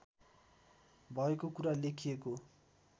भएको कुरा लेखिएको